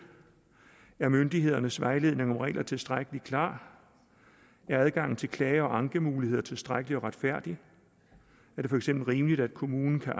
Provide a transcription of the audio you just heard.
er myndighedernes vejledende regler tilstrækkelig klare er adgangen til klage og ankemuligheder tilstrækkelige og retfærdige er det for eksempel rimeligt at kommunen kan